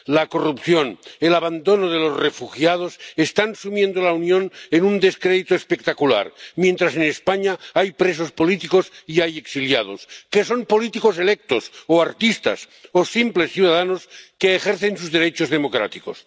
La corrupción, el abandono de los refugiados están sumiendo a la Unión en un descrédito espectacular, mientras en España hay presos políticos y hay exiliados que son políticos electos o artistas o simples ciudadanos que ejercen sus derechos democráticos.